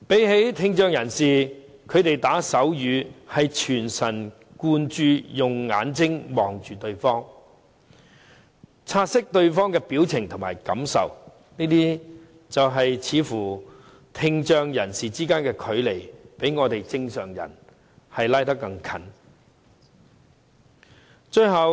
與聽障人士相比，他們打手語是全神貫注，用眼睛看着對方，察悉對方的表情和感受，似乎聽障人士之間的距離，較正常人之間的距離更為接近。